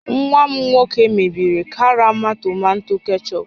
Nwa m nwoke mebiri karama tomato kechọp